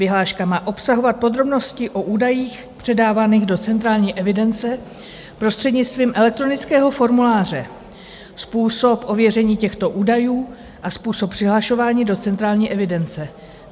Vyhláška má obsahovat podrobnosti o údajích předávaných do centrální evidence prostřednictvím elektronického formuláře, způsob ověření těchto údajů a způsob přihlašování do centrální evidence.